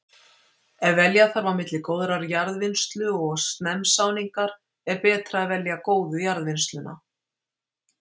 Ef velja þarf á milli góðrar jarðvinnslu og snemmsáningar er betra að velja góðu jarðvinnsluna.